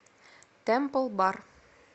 тэмпл бар